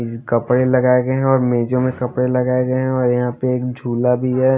कपड़े लगाए गए हैं और मेजों में कपड़े लगाए गए हैं और यहाँ पे एक झूला भी है।